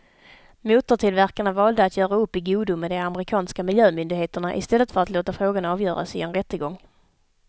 Motortillverkarna valde att göra upp i godo med de amerikanska miljömyndigheterna i stället för att låta frågan avgöras i en rättegång.